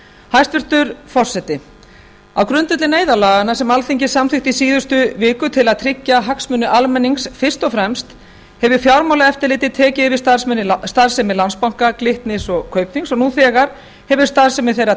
hæstvirtur forseti á grundvelli neyðarlaganna sem alþingi samþykkti í síðustu viku til að tryggja hagsmuni almennings fyrst og fremst hefur fjármálaeftirlitið tekið yfir starfsemi landsbanka glitnis og kaupþings og nú þegar hefur starfsemi þeirra